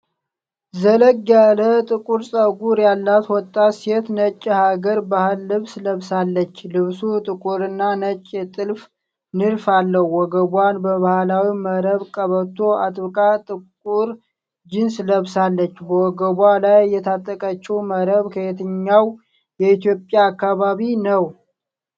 ዘለግ ያለ ጥቁር ፀጉር ያላት ወጣት ሴት ነጭ የሐገር ባህል ልብስ ለብሳለች። ልብሱ ጥቁርና ነጭ የጥልፍ ንድፍ አለው። ወገቧን በባህላዊ መረብ ቀበቶ አጥብቃ ጥቁር ጂንስ ለብሳለች። በወገቧ ላይ የታጠቀችው መረብ ከየትኛው የኢትዮጵያ አካባቢ ነው?